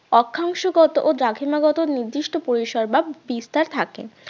অক্ষাংশগত ও দ্রাঘিমা গত নির্দিষ্ট পরিসর বা বিস্তার থাকে